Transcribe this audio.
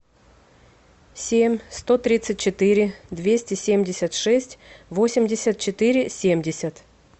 семь сто тридцать четыре двести семьдесят шесть восемьдесят четыре семьдесят